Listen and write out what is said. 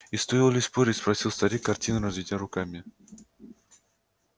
и стоило ли спорить спросил старик картинно разведя руками